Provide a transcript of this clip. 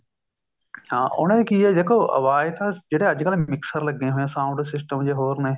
ਹਾਂ ਉਹਨੇ ਦੇ ਕੀ ਹੈ ਦੇਖੋ ਆਵਾਜ ਤਾਂ ਜਿਹੜੇ ਅੱਜਕਲ mixture ਲੱਗੇ ਹੋਏ ਹੈ sound system ਜੇ ਹੋਰ ਨੇ